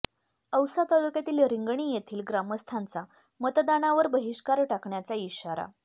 औसा तालुक्यातील रिंगणी येथील ग्रामस्थांचा मतदानावर बहिष्कार टाकण्याचा इशारा